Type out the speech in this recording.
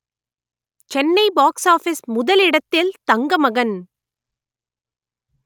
Chennai box office முதலிடத்தில் தங்கமகன்